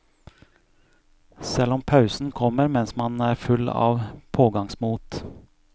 Selv om pausen kommer mens man er full av pågangsmot.